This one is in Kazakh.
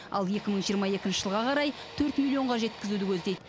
ал екі мың жиырма екінші жылға қарай төрт миллионға жеткізуді көздейді